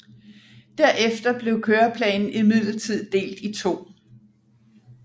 Derefter blev køreplanen imidlertid delt i to